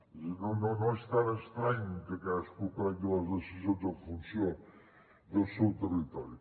és a dir no és tan estrany que cadascú prengui les decisions en funció del seu territori